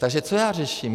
Takže co já řeším?